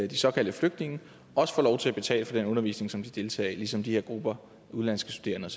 de såkaldte flygtninge også får lov til at betale for den undervisning som de deltager i ligesom de her grupper udenlandske studerende